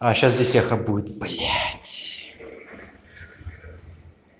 а сейчас здесь эхо будет блять